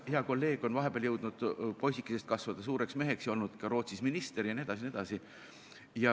Hea kolleeg on vahepeal jõudnud poisikesest kasvada suureks meheks ja olnud ka Rootsis minister jne.